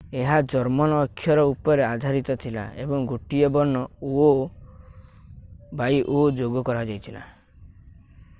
ଏହା ଜର୍ମନ ଅକ୍ଷର ଉପରେ ଆଧାରିତ ଥିଲା ଏବଂ ଗୋଟିଏ ବର୍ଣ୍ଣ õ/õ ଯୋଗ କରାଯାଇଥିଲା।